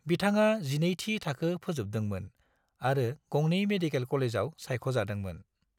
बिथाङा 12थि थाखो फोजोबदोंमोन आरो गंनै मेडिकेल कलेजाव सायख'जादोंमोन।